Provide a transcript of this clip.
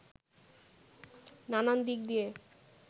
নানান দিক নিয়ে